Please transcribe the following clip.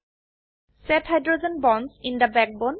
set hydrogen bonds in the backbone